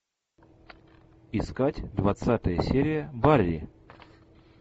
искать двадцатая серия барри